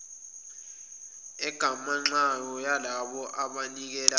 egamanxayo yalabo abanikelayo